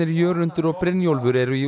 Jörundur og Brynjólfur eru í